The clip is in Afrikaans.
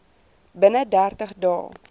binne dertig dae